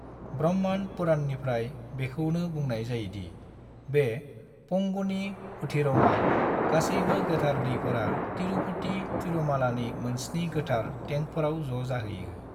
ब्रह्मंड पुराणनिफ्राय, बेखौनो बुंनाय जायोदि बे पंगुनी उथिरमआव, गासैबो गोथार दैफोरा तिरुपति तिरुमालानि मोनस्नि गोथार टेंकफोराव ज' जाहैयो।